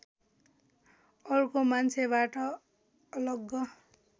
अर्को मान्छेबाट अलग